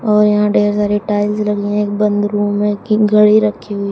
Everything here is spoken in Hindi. और यहाँ ढेर सारी टाइल्स लगी हैं एक बंद रूम है की घड़ी रखी हुई--